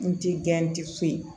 N ti gɛn ti foyi